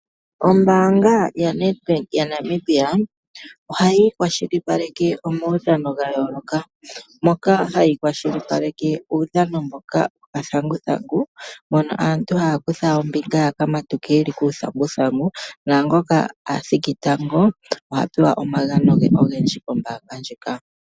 Ombaanga ya Nadbank ya Namibia, oha yi kwashilipaleke omaudhano ga yooloka, moka ha yi kwashilipaleke uudhano woka dhanguthangu, mono aantu ha ya kutha ombinga ya ka matuke ye li kuuthanguthangu, naangoka athiki tango ote ya apewe omagano ge ogendji.